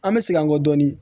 An bɛ segin an kɔ dɔɔnin